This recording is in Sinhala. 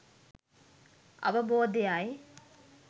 අවබෝධය යි.